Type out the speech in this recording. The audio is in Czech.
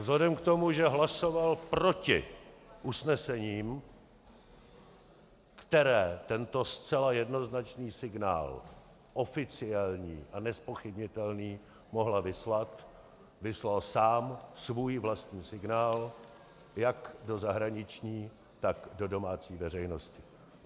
Vzhledem k tomu, že hlasoval proti usnesením, která tento zcela jednoznačný signál, oficiální a nezpochybnitelný, mohla vyslat, vyslal sám svůj vlastní signál jak do zahraničí, tak do domácí veřejnosti.